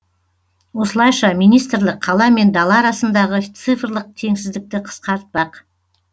осылайша министрлік қала мен дала арасындағы цифрлық теңсіздікті қысқартпақ